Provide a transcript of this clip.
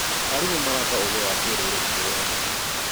Arimũ maraka ũũgĩ wa kĩrũrĩrĩ kũrĩ arutwo.